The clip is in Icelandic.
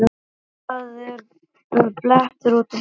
Það eru blettir út um allt.